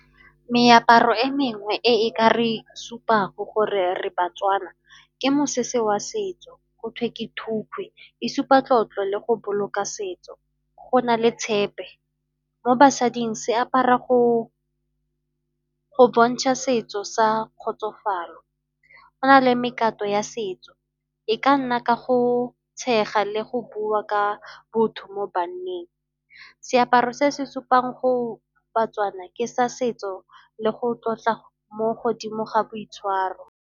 Meaparo e mengwe e e ka re supago gore re baTswana, ke mosese wa setso go thwe ke thukgwe, e supa tlotlo le go boloka setso, go na le tshepe, mo basading seapara go bontsha setso sa kgotsofalo. Go na le ya setso e ka nna ka go tshega le go bua ka botho mo banneng. Seaparo se se supang baTswana ke sa setso le go tlotla mo godimo ga boitshwaro.